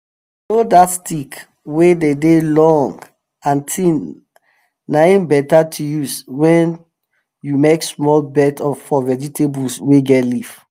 you know that stick wey dey dey long and tin na em better to use when you make small bed for vegetables wey get leaf